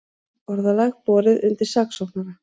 Orðalag borið undir saksóknara